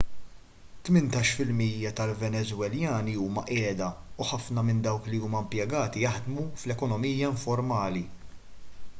tmintax fil-mija tal-venezwelani huma qiegħda u ħafna minn dawk li huma impjegati jaħdmu fl-ekonomija informali